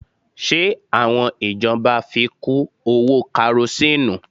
Ṣe àwọn ìjọba fi kú owó Karosíìnù?